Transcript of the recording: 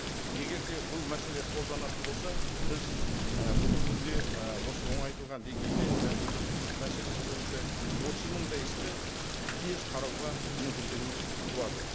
егер де бұл мәселе қолданатын болса біз і бүгінгі күнде ы осы оңайтылған деңгейде жаңа бұйрықтық мәселесі бойынша отыз мыңдай істі тез қарауға мүмкіндігіміз туады